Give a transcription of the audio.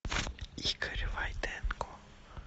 игорь войтенко